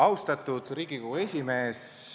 Austatud Riigikogu esimees!